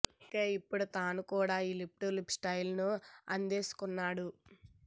అందుకే ఇప్పుడు తను కూడా ఈ లిప్ టు లిప్ స్టయిల్ ను అందేసుకున్నాడు